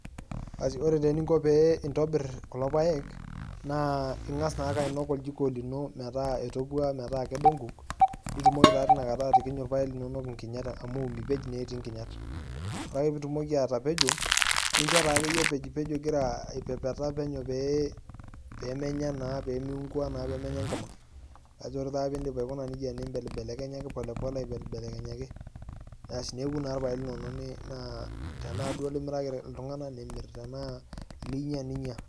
Asi ore naa eninko pee intobir kulo paek, naa ing'as naake ainok oljiko lino, metaa etopua, metaa kedo nkuk, nitumoki taa tinakata atikinyu irpaek linonok inkinyat amu mipej naa etii nkinyat. Ore ake pitumoki atapejo, nincho taakeyie epejipejo igira aipepeta penyo pee pemenya naa pimiunkua pemenya enkima. Ore taa pidip aikuna nejia, nibelbelekenyaki polepole aibelbelekenyaki. Asi neoku taa irpaek linonok, tenaa duo limirakita iltung'anak, nimir. Tenaa linya, ninya.